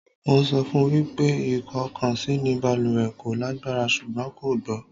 Mo sọ fún wípé ikokansi ni baluwe kò lágbára ṣùgbọ́n kò gbọ́